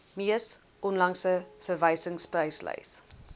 mees onlangse verwysingspryslys